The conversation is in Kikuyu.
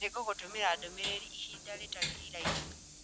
Nĩngũgũtũmĩra ndũmĩrĩri ihinda rĩtarĩ iraihu